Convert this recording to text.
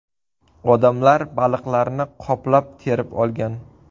Odamlar baliqlarni qoplab terib olgan.